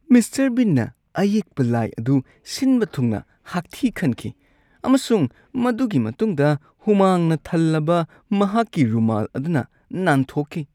Mister ꯕꯤꯟꯅ ꯑꯌꯦꯛꯄ ꯂꯥꯏ ꯑꯗꯨ ꯁꯤꯟꯕ ꯊꯨꯡꯅ ꯍꯥꯛꯊꯤ ꯈꯟꯈꯤ ꯑꯃꯁꯨꯡ ꯃꯗꯨꯒꯤ ꯃꯇꯨꯡꯗ ꯍꯨꯃꯥꯡꯅ ꯊꯜꯂꯕ ꯃꯍꯥꯛꯀꯤ ꯔꯨꯃꯥꯜ ꯑꯗꯨꯅ ꯅꯥꯟꯊꯣꯛꯈꯤ꯫